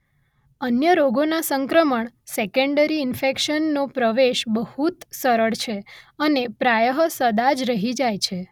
અન્ય રોગોના સંક્રમણ સેકંડરી ઇનફ઼ેક્શનનો પ્રવેશ બહુત સરળ છે અને પ્રાયઃ સદા જ રહી જાય છે